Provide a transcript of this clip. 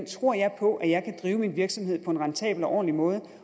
tror jeg på at jeg kan drive min virksomhed på en rentabel og ordentlig måde